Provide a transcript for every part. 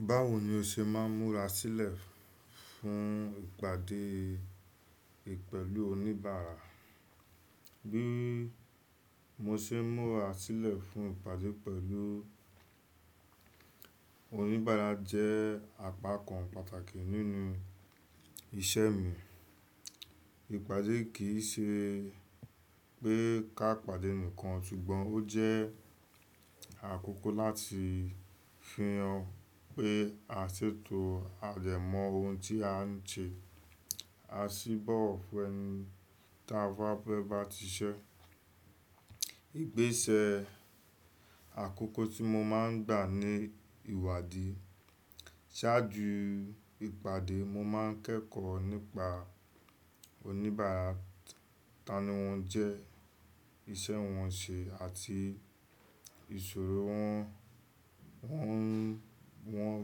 Báwo ni o ṣe máa ń múra sílẹ̀ fún ìpàdé pẹ̀lú oníbàárà? Bí mo ṣe ń múra sílẹ̀ fún ìpàdé pẹ̀lú oníbàárà jẹ́ àpakàn pàtàkì nínú iṣẹ́ mi. Ìpàdé kì í ṣe pé ká pàdé nìkan ṣùgbọ́n ó jẹ́ àkókò láti fihàn pé a ṣètò àdẹ̀mọ́ ohun tí a ń ṣe, a sì bọ̀wọ̀ fún ẹni táa bá fẹ́ bá ti iṣẹ́. Igbésẹ̀ àkọ́kọ́ tí mo máa ń gbà ni ìwádìí. Ṣáájú ìpàdé, mo máa ń kẹ́kọ̀ọ́ nípa oníbàárà, ta ni wọ́n jẹ́, iṣẹ́ wọn ṣe àti ìṣòro wọn, wọ́n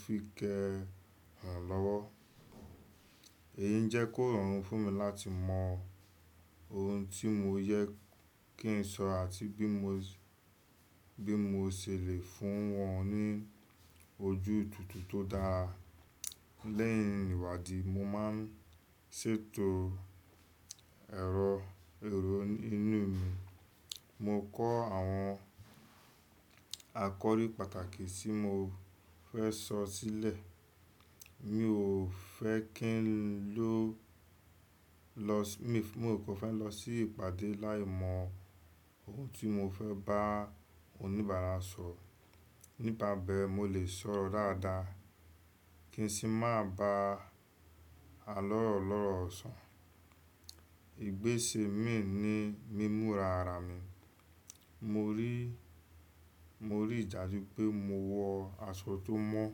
fi kẹ́hàn lọ́wọ́. Èyí jẹ́ kó rọrùn fún mi láti mọ ohun tí mo yẹ kí n sọ àti bí mo, bi mo ṣele fún wọn ní ojú tútù tó dára. Lẹ́yìn ìwádìí, mo máa ń ṣètò ẹ̀rọ ìró inú mi. Mo kọ́ àwọn àkọ́rí pàtàkì tí mo fẹ́ sọ sílẹ̀. Mi ò fẹ́ ko fẹ lọ sí ìpàdé láì mọ ohun tí mo fẹ́ bá oníbàárà sọ̀. Nípa bẹ́ẹ̀, mo lè sọ̀rọ̀ dáadáa kí n sì má ba àlọ́rọ̀ lọ́rọ̀ ọ̀sán. Igbési mi ni mímura ara mi, mo ri Mo rí ìjá ju pé mo wọ aṣọ tó mọ́,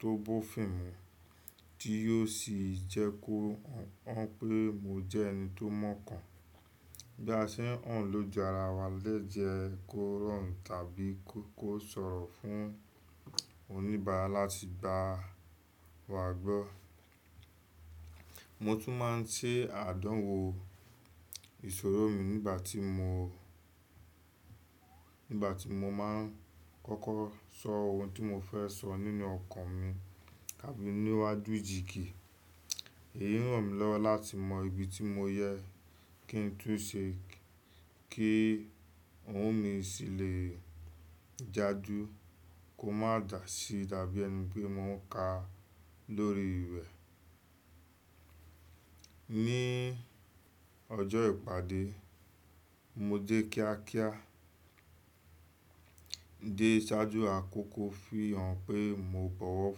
tó bó fín mú tí yóò sì jẹ́ kó hàn pé mo jẹ́ ẹni tó mọ̀kan. Bí a ṣe ń hàn lójú ara wa le jẹ́ kó rọrùn fún oníbàárà wa láti gbà wá gbọ́. Mo tún máa ń ṣe àdánwò ìṣòro mi nígbà tí mo máa ń kọ́kọ́ sọ ohun tí mo fẹ́ sọ nínú ọkàn mi tàbí níwájú ìjìkí. Èyí ràn mí lọ́wọ́ láti mọ ibi tí mo yẹ kí ń tún ṣe kí ohùn mi ṣì lè jáde kó má dà si tàbí ẹni bí mo ń ka lórí ìwé. Ni ọjọ́ ìpàdé, mo dé kíákíá dé ṣáájú àkókò fihàn pé mo bọ̀wọ̀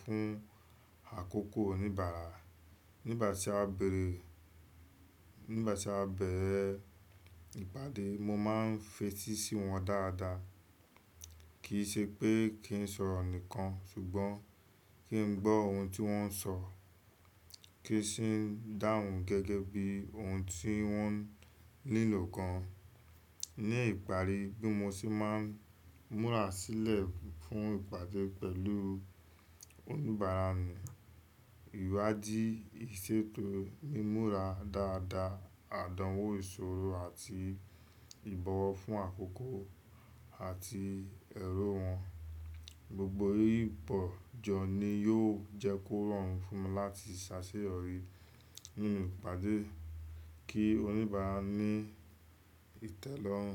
fún àkókò oníbàárà. Nígbà tí a bẹ̀rẹ̀ ìpàdé, mo máa ń fetí sí wọn dáadáa. Kì í ṣe pé kí n sọ̀rọ̀ nìkan ṣùgbọ́n kí n gbọ ohun tí wọ́n ń sọ kí n sì dáhùn gẹ́gẹ́ bí ohun tí wọ́n nílò kan. Ni ìparí bí mo ṣe máa ń múra sílẹ̀ fún ìpàdé pẹ̀lú oníbàárà ni ìwádìí, ìṣètò, mímura dáadáa, àdánwò ìṣòro àti ìbọ̀wọ̀ fún àkọ́kọ́ àti ẹ̀rọ wọn. Gbogbo yìí pọ̀ jọ ni yóò jẹ́ kó rọrùn fún mi láti ṣàṣeyọrí nínú ìpàdé kí oníbàárà ní ìtẹ́lọ́rùn.